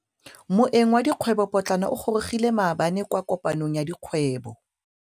Moêng wa dikgwêbô pôtlana o gorogile maabane kwa kopanong ya dikgwêbô.